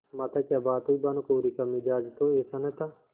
माताक्या बात हुई भानुकुँवरि का मिजाज तो ऐसा न था